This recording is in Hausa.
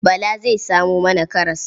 Bala zai samo mana karas.